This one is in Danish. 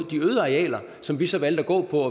de øde arealer som vi så valgte at gå på